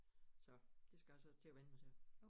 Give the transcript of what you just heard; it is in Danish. Så det skal jeg så til at vende mig til